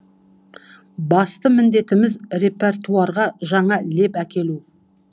басты міндетіміз репертуарға жаңа леп әкелу